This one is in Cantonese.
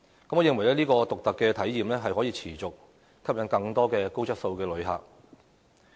我認為這種獨特的體驗，可以持續吸引更多高質素的旅客。